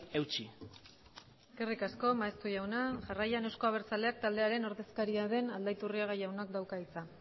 eutsi eskerrik asko maeztu jaunak jarraian eusko abertzaleak taldearen ordezkariak den aldaiturriaga jaunak dauka hitza